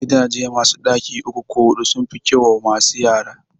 Gidaje masu ɗaki uku ko huɗu sun fi kyau wa masu yara